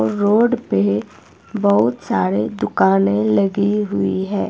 Road पे बहुत सारे दुकाने लगी हुई हैं।